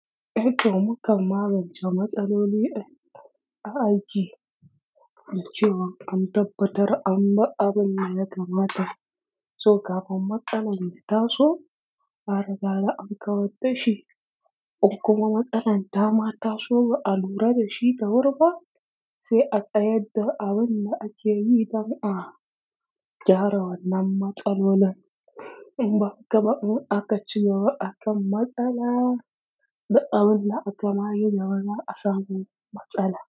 Ehh toh mukan magance matsaloli a aiki, da cewa an tabbatar an bi abun da aka mata. So kafin matsalar ya taso, a riga akann ka wata shi. Ko kuma matsalar ta ma taso ba a lura da shi da wurba, sai a tsayar da abun da ake yi dan a gyara wannan matsalalolin. In ba haka ba, un akaci yawa akan matsala da abun da aka ma yi ya zama asalin matsala.